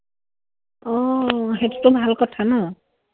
অ, অ। সেইটোতো ভাল কথা ন?